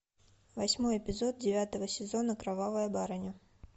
восьмой эпизод девятого сезона кровавая барыня